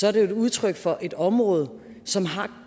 er det jo et udtryk for et område som har